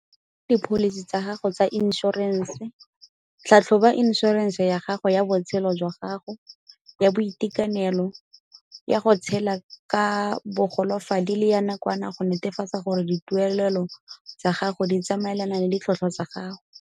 Dipholisi tsa gago tsa inšorense Tlhatlhoba inšorense ya gago ya botshelo jwa gago, ya boitekanelo, ya go tshela ka bogolofadi le ya nakwana go netefatsa gore dituelelo tsa gago di tsamaelana le ditlhokwa tsa gago.